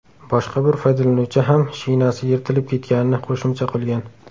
Boshqa bir foydalanuvchi ham shinasi yirtilib ketganini qo‘shimcha qilgan.